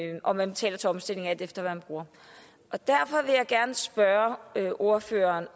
og man betaler til omstillingen alt efter hvad man bruger derfor vil jeg gerne spørge ordføreren